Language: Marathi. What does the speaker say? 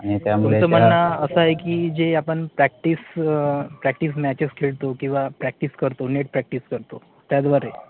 आणि त्यामुळे तुमचं म्हणणं असं, आहे कि जे आपण, PRACTICE Practice matches खेळतो, किंवा practice करतो, net practice करतो, त्याद्वारे?